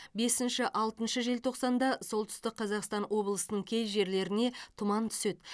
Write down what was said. бесінші алтыншы желтоқсанда солтүстік қазақстан облысының кей жерлеріне тұман түседі